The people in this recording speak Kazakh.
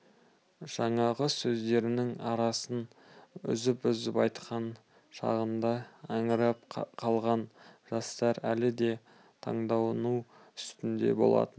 жаңағы сөздерінің арасын үзіп-үзіп айтқан шағында аңырып қалған жастар әлі де таңдану үстінде болатын